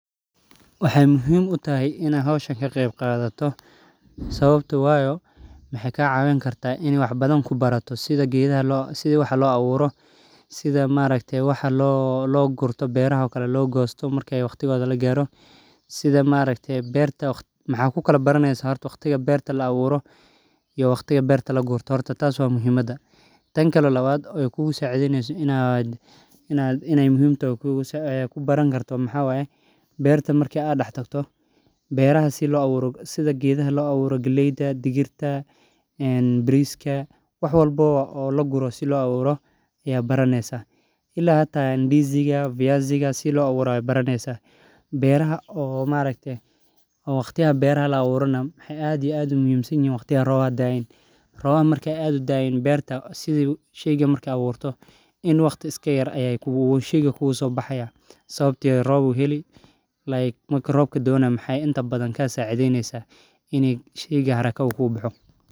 Waxee muhiim utahay in aa hisha ka qeb qadato waxee ku bari karta sitha wax lo aburo waxaa ku kaala baraneyso waqtiga beerta la aburo iyo waqtiga lagosto ila idisiga fiyasiga si lo aburo waqtiga robka waqti yar ayu kugu sobixi marki rob daayan sheyga haraka ayu kusobixi sas ayan arki haya.